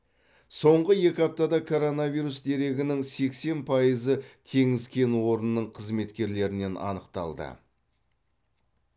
соңғы екі аптада коронавирус дерегінің сексен пайызы теңіз кен орнының қызметкерлерінен анықталды